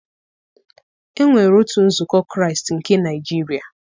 Enwere otu nzukọ Kraịst nke Naịjiria.